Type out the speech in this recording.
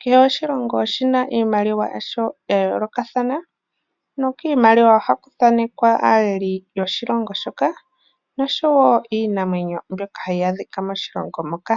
kehe oshilongo oshina iimaliwa yasho ya yoolokathana nokimaliwa ohaku thanekwa aaleli yoshilongo shoka niinamwenyo mbyoka hayi adhika moshilongo moka.